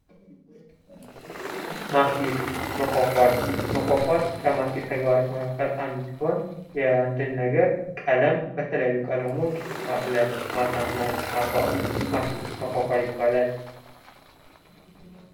ማስጌጥ መኳኳል መኳኳል ከማስጌጥ ተግባሮች መካከል አንዱ ሲሆን የአንድ ነገር ቀለም በተለያዩ ቀለሞች ማሳመር ማስዋብ ማስጌጥ መኳኳል ይባላል።